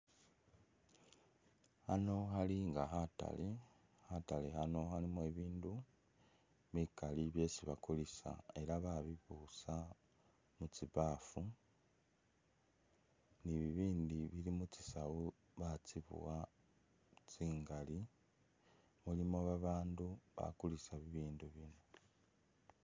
Ano khali nga khatale, khatale khano khalimo bi bindu bikali byesi bakulisa era babibusa mu tsi bafu, ni bi bindi bili mutsisawu batsibuwa tsingali, mulimo ba bandu ba kulisa bi bindu bino.